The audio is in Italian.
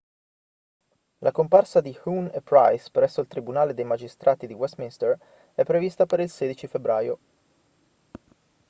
la comparsa di huhne e pryce presso il tribunale dei magistrati di westminster è prevista per il 16 febbraio